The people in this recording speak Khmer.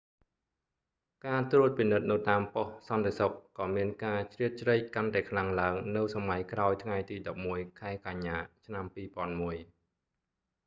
ការត្រួតពិនិត្យនៅតាមប៉ុស្តិ៍សន្តិសុខក៏មានការជ្រៀតជ្រែកកាន់តែខ្លាំងឡើងនៅសម័យក្រោយថ្ងៃទី11 ខែកញ្ញា ឆ្នាំ2001